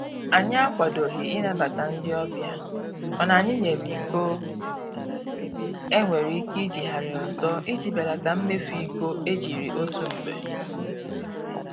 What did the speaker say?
Anyị akwadoghị ịnabata ndị ọbịa mana anyị nyere iko e nwere ike ijigharị ọzọ iji belata mmefu iko e jiri otu mgbe